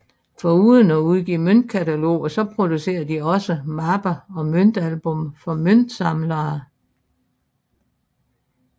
Foruden at udgive møntkataloger producerede de også mapper og møntalbum for møntsamlere